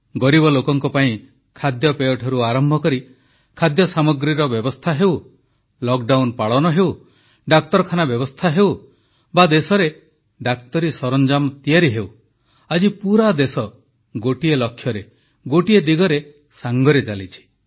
ଗରିବ ଲୋକଙ୍କ ପାଇଁ ଖାଦ୍ୟପେୟଠାରୁ ଆରମ୍ଭ କରି ଖାଦ୍ୟସାମଗ୍ରୀର ବ୍ୟବସ୍ଥା ହେଉ ଲକଡାଉନ୍ ପାଳନ ହେଉ ଡାକ୍ତରଖାନା ବ୍ୟବସ୍ଥା ହେଉ ବା ଦେଶରେ ଡାକ୍ତରୀ ସରଞ୍ଜାମ ତିଆରି ହେଉ ଆଜି ପୁରା ଦେଶ ଗୋଟିଏ ଲକ୍ଷ୍ୟରେ ଗୋଟିଏ ଦିଗରେ ଏକା ସାଙ୍ଗରେ ଚାଲିଛି